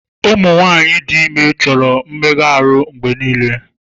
Ụmụ nwanyị dị ime chọrọ mmega ahụ mgbe niile.